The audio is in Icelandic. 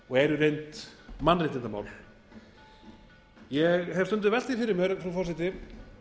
og eru í reynd mannréttindamál ég hef stundum velt því fyrir mér frú forseti